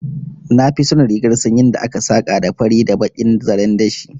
Na fi son rigar sanyin da aka saka da fari da bakin zaren dashi